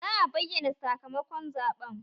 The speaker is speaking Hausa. Za a bayyana sakamakon zaɓen